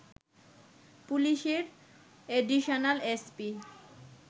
পুলিশের additional SP